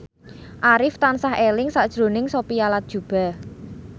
Arif tansah eling sakjroning Sophia Latjuba